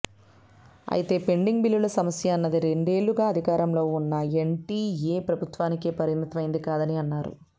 అయితే పెండింగ్ బిల్లుల సమస్య అన్నది రెండే ళ్లుగా అధికారంలో ఉన్న ఎన్డిఎ ప్రభుత్వానికే పరిమిత మైంది కాదని అన్నారు